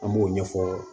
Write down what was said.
An b'o ɲɛfɔ